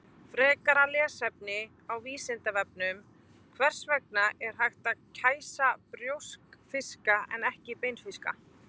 Frekara lesefni á Vísindavefnum: Hvers vegna er hægt að kæsa brjóskfiska en ekki beinfiska?